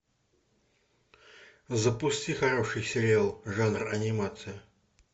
запусти хороший сериал жанр анимация